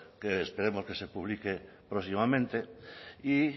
que esperemos que se publique próximamente y